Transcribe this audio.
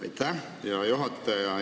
Aitäh, hea juhataja!